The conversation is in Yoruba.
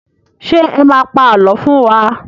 Ṣé ẹ má a pa àlọ́ fún wa?